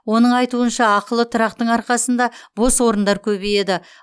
оның айтуынша ақылы тұрақтың арқасында бос орындар көбейеді